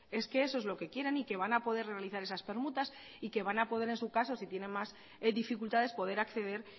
es que eso es lo que quieren y que van a poder realizar esas permutas y que van a poder en su caso si tienen más dificultades poder acceder